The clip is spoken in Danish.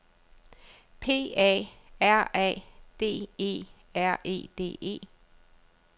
P A R A D E R E D E